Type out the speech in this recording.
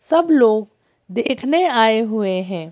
सब लोग देखने आए हुए हैं।